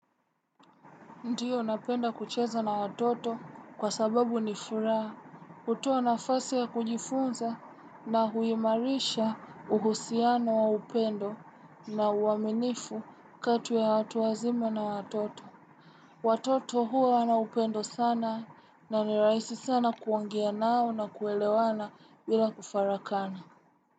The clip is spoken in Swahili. Ndiyo napenda kucheza na watoto kwa sababu ni furaha, hutoa nafasi ya kujifunza na huimarisha uhusiano wa upendo na uaminifu katu ya watu wazima na watoto. Watoto huwa wana upendo sana na ni rahisi sana kuongea nao na kuelewana bila kufarakana.